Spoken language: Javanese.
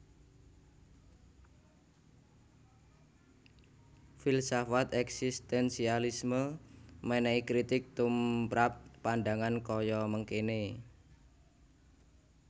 Filsafat eksistensialisme menehi kritik tumprap pandangan kaya mengkene